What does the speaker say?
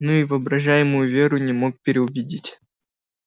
но и воображаемую веру не мог переубедить